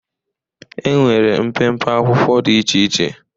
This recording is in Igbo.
enwere mpempe akwụkwọ dị iche iche.